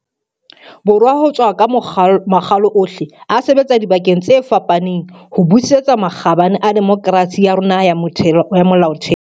Borwa ho tswa ka makgalo ohle, a sebetsa dibakeng tse fapaneng ho busetsa makgabane a demokerasi ya rona ya molaotheo.